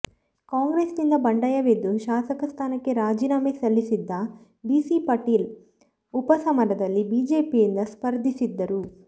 ಕಾಂಗ್ರೆಸ್ ನಿಂದ ಬಂಡಾಯವೆದ್ದು ಶಾಸಕ ಸ್ಥಾನಕ್ಕೆ ರಾಜೀನಾಮೆ ಸಲ್ಲಿಸಿದ್ದ ಬಿಸಿ ಪಾಟೀಲ್ ಉಪ ಸಮರದಲ್ಲಿ ಬಿಜೆಪಿಯಿಂದ ಸ್ಪರ್ಧಿಸಿದ್ದರು